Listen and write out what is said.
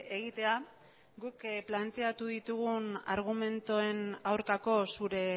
egitea guk planteatu ditugun argumentuen aurkako zure